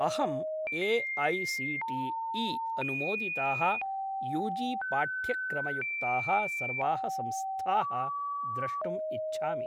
अहम् ए.ऐ.सी.टी.ई.अनुमोदिताः यूजी पाठ्यक्रमयुक्ताः सर्वाः संस्थाः द्रष्टुम् इच्छामि।